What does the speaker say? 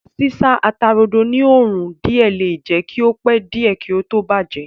Sísá ata-rodo ní òrùn díẹ̀ le jẹ́ kí ó pẹ́ díẹ̀ kí ó tó bàjẹ́